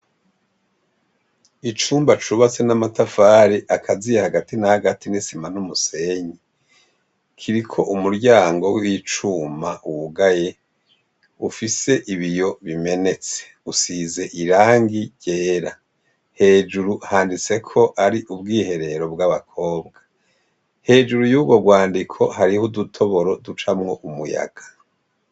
Icumba cubatse n'amatafare akaziye hagati na agati n'isima n'umusenyi kiriko umuryango ww'icuma wugaye ufise ibiyo bimenetse usize irangi ryera hejuru handitseko ari ubwiherero bw'abakobwa hejuru y'uro rwandiko hariho udutoboro ducamwo umuyaga.